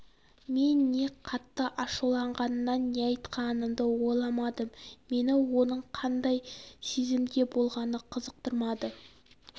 мен не қатты ашуланғаннан не айтқанымды ойламадым мені оның қандай сезімде болғаны қызықтырмады